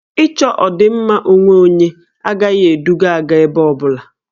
Ị chọ ọdịmma onwe onye agaghị eduga Ada ebe ọ bụla